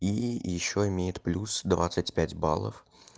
и ещё имеет плюс двадцать пять баллов